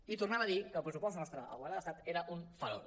i tornava a dir que el pressupost nostre al govern de l’estat era un farol